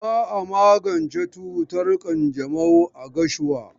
Za a magance cutar ƙanjamau a Gashuwa.